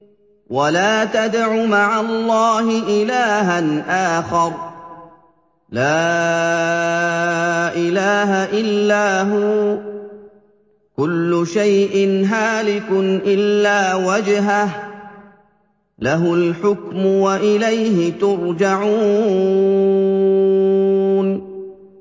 وَلَا تَدْعُ مَعَ اللَّهِ إِلَٰهًا آخَرَ ۘ لَا إِلَٰهَ إِلَّا هُوَ ۚ كُلُّ شَيْءٍ هَالِكٌ إِلَّا وَجْهَهُ ۚ لَهُ الْحُكْمُ وَإِلَيْهِ تُرْجَعُونَ